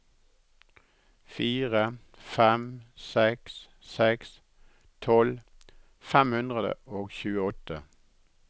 fire fem seks seks tolv fem hundre og tjueåtte